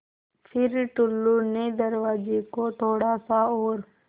फ़िर टुल्लु ने दरवाज़े को थोड़ा सा और